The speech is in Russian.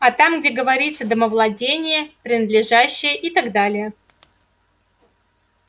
а там где говорится домовладение принадлежащее и так далее